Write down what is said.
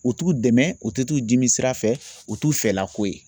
U t'u dɛmɛ u tɛ t'u jiminsira fɛ o t'u fɛlako ye